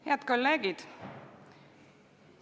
Head kolleegid!